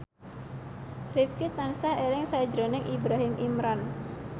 Rifqi tansah eling sakjroning Ibrahim Imran